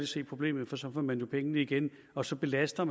se problemet for så får man jo pengene igen og så belaster